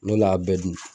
N'olu y'a bɛɛ dun